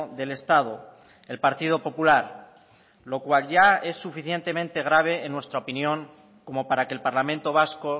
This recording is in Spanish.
del estado el partido popular lo cual ya es suficientemente grave en nuestra opinión como para que el parlamento vasco